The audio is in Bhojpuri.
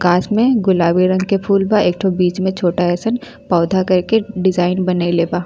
कास में गुलाबी रंग के फूल बा। एक ठो बीच में छोटा अइसन पौधा करके डिज़ाइन बनईले बा।